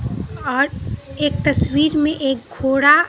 आज एक तस्वीर में एक घोड़ा--